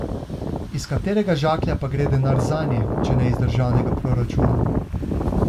Iz katerega žaklja pa gre denar zanje, če ne iz državnega proračuna?